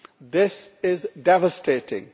This is devastating.